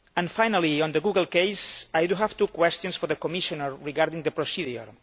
Finally, on the Google case, I have two questions for the Commissioner regarding the procedure.